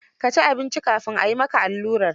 Ka ci abinci kafin a yi maka allurar?